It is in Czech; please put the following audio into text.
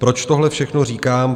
Proč tohle všechno říkám?